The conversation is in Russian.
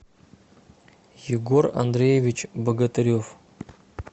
егор андреевич богатырев